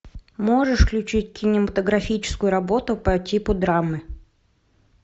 можешь включить кинематографическую работу по типу драмы